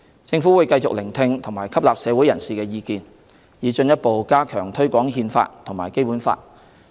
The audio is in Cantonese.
政府會繼續聆聽及吸納社會人士的意見，以進一步加強推廣《憲法》和《基本法》。